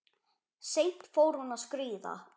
Seint fór hún að skríða.